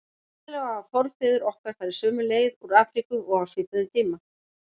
Sennilega hafa forfeður okkar farið sömu leið úr Afríku og á svipuðum tíma.